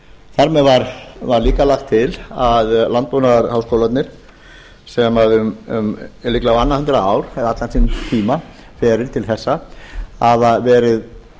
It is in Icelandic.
þar með var líka lagt til að landbúnaðarháskólarnir sem um líklega á annað hundrað ár eða allan þann tíma verið til þessa hafa verið